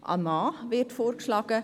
Sie hat einen Mann vorgeschlagen.